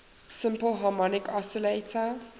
simple harmonic oscillator